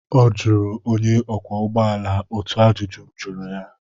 Ọ jụrụ onye ọkwọ ụgbọ ala otu ajụjụ m jụrụ ya